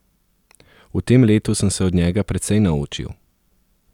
V tem letu sem se od njega precej naučil.